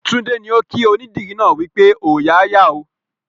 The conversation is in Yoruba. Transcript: Tunde ni o kí onídìrí náà wípé "Ooya a yà ó"